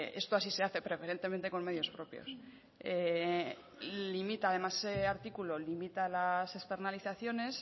esto así se hace preferentemente con medios propios ese artículo limita las externalizaciones